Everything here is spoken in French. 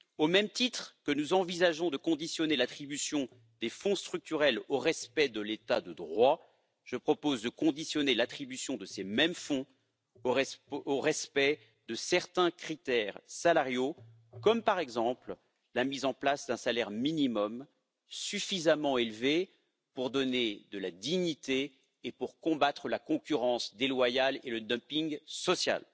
Au même titre que nous envisageons de conditionner l'attribution des fonds structurels au respect de l'état de droit, je propose de conditionner l'attribution de ces mêmes fonds au respect de certains critères salariaux comme, par exemple, la mise en place d'un salaire minimum suffisamment élevé pour donner de la dignité et pour combattre la concurrence déloyale et le dumping social.